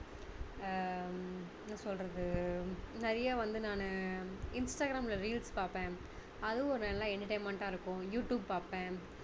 ஆஹ் என்ன சொல்றது நிறைய வந்து நானு இன்ஸ்டாகிராம்ல reels பார்ப்பேன் அதுவும் ஒரு நல்லா entertainment டா இருக்கும் யூடுயூப் பார்ப்பேன்